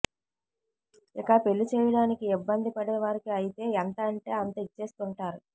ఇక పెళ్లి చేయడానికి ఇబ్బంది పడే వారికి అయితే ఎంత అంటే అంత ఇచ్చేస్తుంటారు